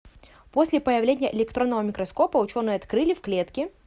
после появления электронного микроскопа ученые открыли в клетке